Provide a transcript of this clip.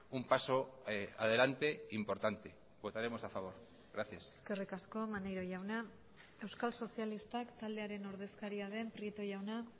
un paso adelante importante votaremos a favor gracias eskerrik asko maneiro jauna euskal sozialistak taldearen ordezkaria den prieto jauna